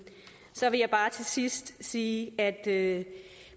så vil jeg bare til sidst sige at